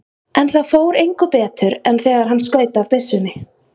En það fór engu betur en þegar hann skaut af byssunni.